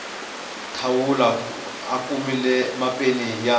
thawula a kumile mapeni ya